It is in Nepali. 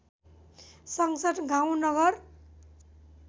संसद गाउँ नगर